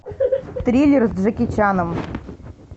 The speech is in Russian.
триллер с джеки чаном